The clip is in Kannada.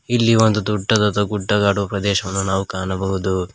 ಇಲ್ಲಿ ಒಂದು ದೊಡ್ಡದಾದ ಗುಡ್ಡಗಾಡು ಪ್ರದೇಶವನ್ನು ನಾವು ಕಾಣಬಹುದು.